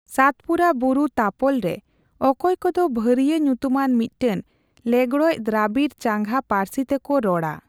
ᱥᱟᱛᱯᱩᱨᱟ ᱵᱩᱨᱩ ᱛᱟᱯᱚᱞ ᱨᱮ ᱚᱠᱚᱭ ᱠᱚᱫᱚ ᱵᱷᱟᱨᱤᱭᱟᱹ ᱧᱩᱛᱩᱢᱟᱱ ᱢᱤᱫᱴᱟᱝ ᱞᱮᱸᱜᱽᱲᱚᱡ ᱫᱨᱟᱵᱤᱲ ᱪᱟᱸᱜᱟ ᱯᱟᱹᱨᱥᱤ ᱛᱮᱠᱚ ᱨᱚᱲᱟ ᱾